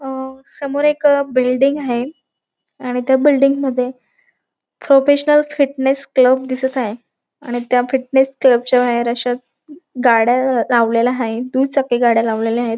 अ समोर एक बिल्डिंग हाये आणि त्या बिल्डिंग मध्ये प्रोफेशनल फिटनेस क्लब दिसत हाये आणि त्या फिटनेस क्लब च्या बाहेर अशा गाड्या लावलेल्या हायेत दुचाकी गाड्या लावलेल्या हायेत.